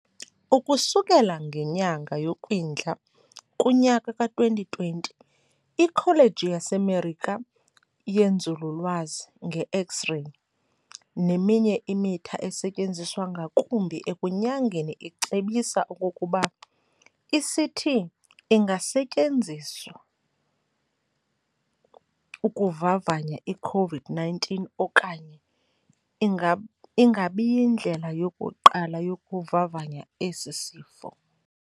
Ukusukela ngenyanga yoKwindla kunyaka ka2020, iKholeji yaseMerika yenzululwazi ngeX-reyi neminye imitha esetyenziswa ngakumbi ekunyangeni icebisa okokuba "iCT inga setyenziswa ukuvavanya iCovid-19 okanye ingabiyindlela yokuqala yokuvavanya esisifo."